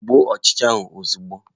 Gbuo ọchịcha ahụ ozugbo!